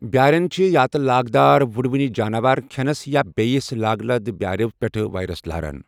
بیٛارٮ۪ن چھِ یا تہِ لاگدار وُڑؤنہِ جاناوار کھٮ۪نس یا بییِس لاگہٕ لد بیٛارِ پیٹھہٕ وائرس لاران ۔